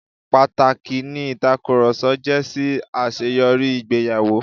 Pàtàkì ni ìtakùrọ̀sọ jẹ́ sí àṣeyọrí ìgbéyàwó.